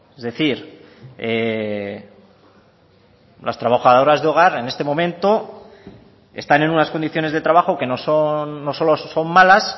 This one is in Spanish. es decir las trabajadoras de hogar en este momento están en unas condiciones de trabajo que no solo son malas